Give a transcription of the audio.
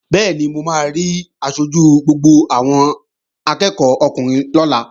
Bẹ́ẹ̀ni, mo máa rí aṣojú gbogbo àwọn akẹ́ẹ̀kọ́ ọkùnrin lọ́la